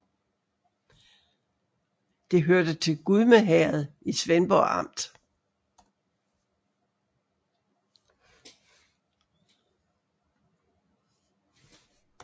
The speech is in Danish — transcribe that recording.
Det hørte til Gudme Herred i Svendborg Amt